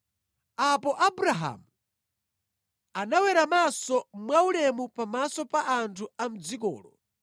Apo Abrahamu anaweramanso mwaulemu pamaso pa anthu a mʼdzikolo